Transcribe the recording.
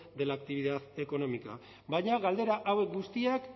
de la actividad económica baina galdera hauek guztiak